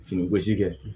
Fini gosi kɛ